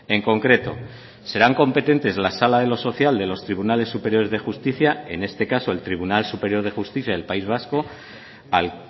en concreto serán competentes la sala de lo social de los tribunales superiores de justicia en este caso el tribunal superior de justicia del país vasco al